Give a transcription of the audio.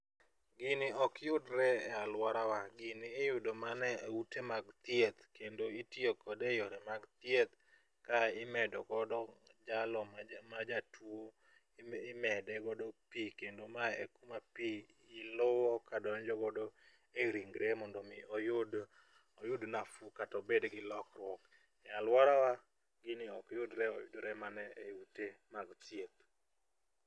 Gini ok yudre e alworawa, gini iyudo mana e ute mag thieth kendo itiyo kode e yore mag thieth ka imedo godo jalo majatuwo, imede godo pi kendo mae e kuma pi luwo kadonjo godo e ringre mondo omi oyud nafuu kata obed gi lokruok. E alworawa gini ok yudre, oyudore mana e ute mag thieth.